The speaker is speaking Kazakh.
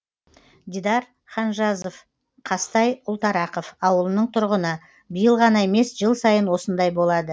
дидар ханжазов қазтай ұлтарақов ауылының тұрғыны биыл ғана емес жыл сайын осындай болады